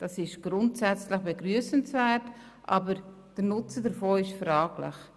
Das ist grundsätzlich begrüssenswert, aber der Nutzen davon ist fraglich.